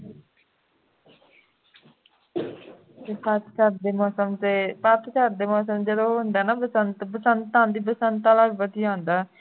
ਪੱਤਝੜ ਦੇ ਮੌਸਮ ਤੇ ਪੱਤਝੜ ਦੇ ਮੌਸਮ ਜਦੋਂ ਉਹ ਹੁੰਦਾ ਹੈ ਨਾ ਬਸੰਤ ਬਸੰਤ ਆਉਂਦੀ ਬਸੰਤ ਵਾਲਾ ਵਧੀਆ ਹੁੰਦਾ ਹੈ